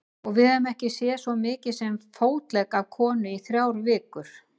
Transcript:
Og við höfum ekki séð svo mikið sem fótlegg af konu í þrjár vikur.